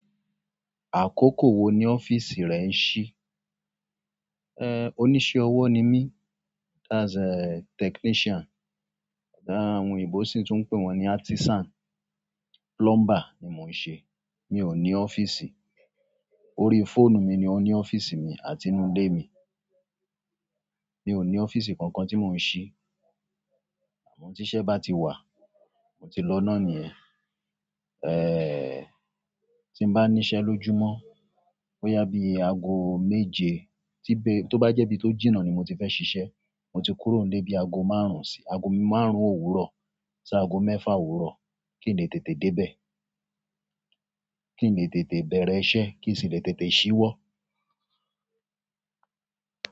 Àkókò wo ni ọ́fíìsì rẹ ń ṣí? Eh, oníṣẹ́ ọwọ́ ni mí, that's a technician. Ah, a àwọn òyìnbó sì tún ń pè wọ́n ní artisan. Plumber ni mò ń ṣe. Mi ò ní ọ́fíìsì. Orí fóònù mi ni ó ní ọ́fíìsì mi àti inú lé mi. Mi ò ní ọ́fíìsì kankan tí mò ń ṣí. Àmọ́ tí iṣẹ́ bá ti wà, mo ti lọ́ná nìyẹn. Eeh, tí mo bá níṣẹ́ lójúmọ́, bóyá bí i aago méje tí b-- tó bá jẹ́ bí i tó jìnnà ni mo ti fẹ́ ṣiṣẹ́, mo ti kúrò nle bí aago márùn-ún sí aago márùn-ún òwúrọ̀ sí aago mẹ́fà òwúrọ̀ kí n lè tètè dé bẹ̀. Kí n lè tètè bẹ̀rẹ̀ iṣẹ́, kí sì lè tètè ṣíwọ́.